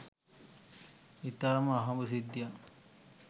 ඉතාම අහඹු සිද්ධියක්.